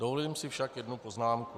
Dovolím si však jednu poznámku.